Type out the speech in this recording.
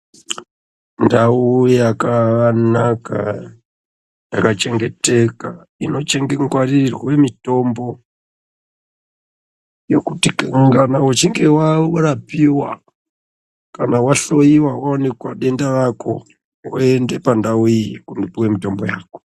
Ndau yakanaka yakachengeteka inochengengwarirwe mutombo yekuti kana uchinge warapiwa kana wahloiwa waonekwa denda rako woende pandau iyi kundopiwe mitombo yako.